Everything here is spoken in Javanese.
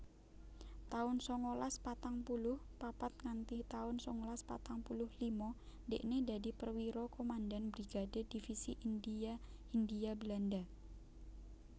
taun sangalas patang puluh papat nganthi taun sangalas patang puluh lima dhekne dadi Perwira Komandan Brigade Divisi India Hindia Belanda